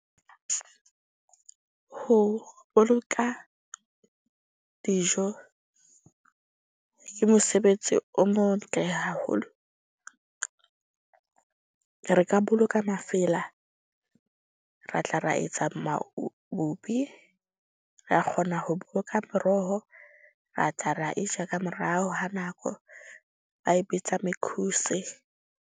Ho boloka dijo ke mosebetsi o motle haholo. Re ka boloka mafela, ra tla ra etsa , ra kgona ho moroho, ra tla ra e ja ka morao ha nako. Ba e bitsa .